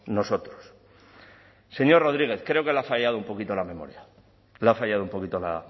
nosotros señor rodriguez creo que le ha fallado un poquito la memoria le ha fallado un poquito la